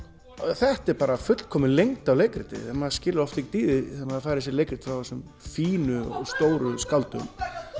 þetta er bara fullkomin lengd á leikriti maður skilur oft ekkert í því þegar maður fær þessi leikrit frá þessum fínu og stóru skáldum